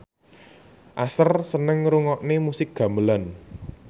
Usher seneng ngrungokne musik gamelan